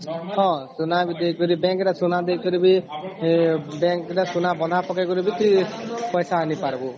ହଁ ସୁନା ଦେଇକରି bank ରେ ବି ସୁନା ଦେଇକରି ବି bank ରେ ସୁନା ବନ୍ଧା ପକେଇକିରି ବି ପଇସା ଆଣି ପାରିବୁ